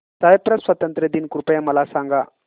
Cyprus स्वातंत्र्य दिन कृपया मला सांगा